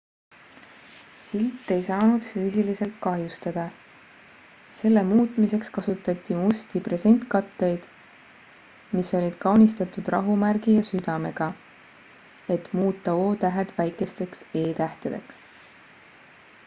silt ei saanud füüsiliselt kahjustada selle muutmiseks kasutati musti presentkatteid mis olid kaunistatud rahumärgi ja südamega et muuta o-tähed väikesteks e-tähtedeks